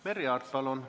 Merry Aart, palun!